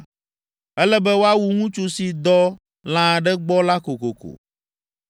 “Ele be woawu ŋutsu si dɔ lã aɖe gbɔ la kokoko.